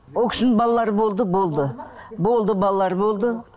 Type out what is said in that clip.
ол кісінің балалары болды болды болды балалары болды